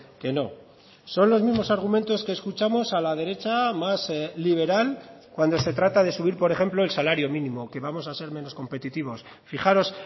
que no son los mismos argumentos que escuchamos a la derecha más liberal cuando se trata de subir por ejemplo el salario mínimo que vamos a ser menos competitivos fijaros